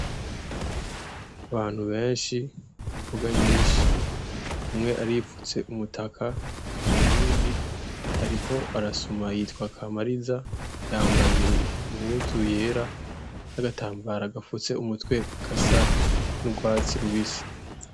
Abantu benshi, imboga nyinshi. Umwe arifutse umutaka , uyundi ariko arasuma yitwa Kamariza, yambaye impuzu yera n'agatambara gafutse umutwe gasa n'urwatsi rubisi.